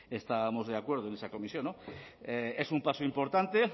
estábamos de acuerdo en esa comisión no es un paso importante